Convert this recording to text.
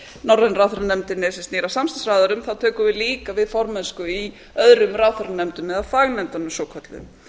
sem snýr að samstarfsráðherrum þá tökum við líka við formennsku í öðrum ráðherranefndum eða fagnefndunum svokölluðu